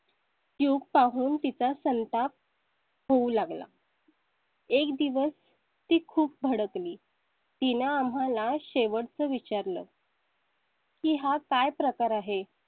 tube पाहून तिचा संताप. होऊ लागला . एक दिवस. ते खूप भडकली. तीन आम्हाला शेवटचा विचारलं . कीं हा काय प्रकार आहे?